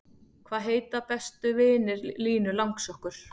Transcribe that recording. Hvaða heita bestu vinir Línu langsokkur?